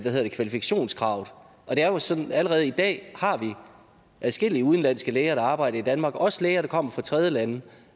kvalifikationskravet allerede i dag har vi adskillige udenlandske læger der arbejder i danmark også læger der kommer fra tredjelande